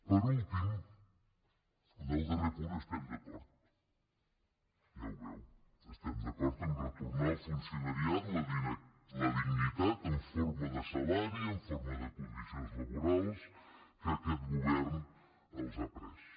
per últim en el darrer punt estem d’acord ja ho veu estem d’acord a retornar al funcionariat la dignitat en forma de salari en forma de condicions laborals que aquest govern els ha pres